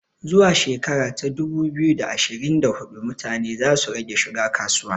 Zuwa shekara ta dubu biyu da ashirin da hudu mutane za su rage shiga kasuwa